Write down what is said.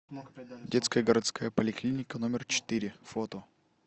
детская городская поликлиника номер четыре фото